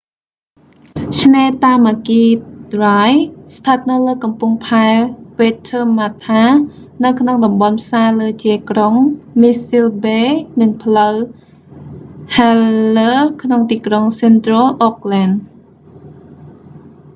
ឆ្នេរតាម៉ាគី ដ្រាយ tamaki drive ស្ថិតនៅលើកំពង់ផែវ៉េតធើម៉ាថា waitemata harbour នៅក្នុងតំបន់ផ្សារលើជាយក្រុង មីសសិន ប៊េ mission bay និងផ្លូវ st heliers ក្នុងទីក្រុង សិនត្រុល អូកលែន central auckland